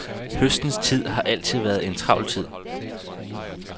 Høstens tid har altid været en travl tid.